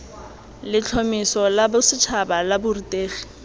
letlhomeso la bosetšhaba la borutegi